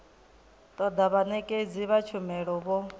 toda vhanekedzi vha tshumelo vho